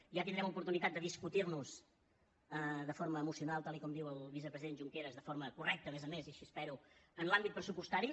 ja tindrem oportunitat de discutir nos de forma emocional tal com diu el vicepresident junqueras de forma correcta a més a més i així ho espero en l’àmbit pressupostari